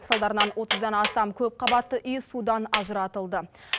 салдарынан отыздан астам көпқабатты үй судан ажыратылды